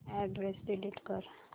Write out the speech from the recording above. address delete कर